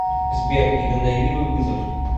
сбер игнорируй вызов